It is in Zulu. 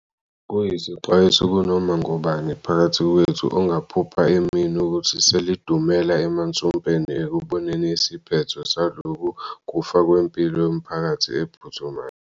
Kuyisixwayiso kunoma ngubani phakathi kwethu ongaphupha emini ukuthi selidumela emansumpeni ekuboneni isiphetho saloku kufa kwempilo yomphakathi ephuthumayo.